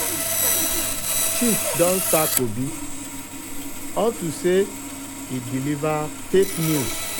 chief don sack obi um unto say he deliver fake he deliver fake news